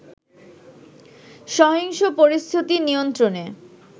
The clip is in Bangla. সহিংস পরিস্থিতি নিয়ন্ত্রণে